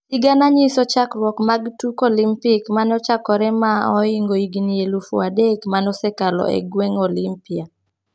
sigana nyiso chakruok mag tuk olimpik mane ochakore ma ohingo higni elufu adek mane osekalo e gweng Olimpia,